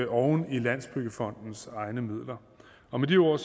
oven i landsbyggefondens egne midler og med de ord